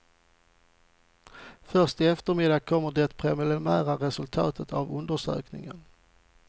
Först i eftermiddag kommer det preliminära resultat av undersökningen.